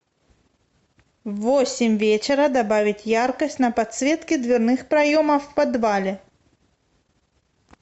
в восемь вечера добавить яркость на подсветке дверных проемов в подвале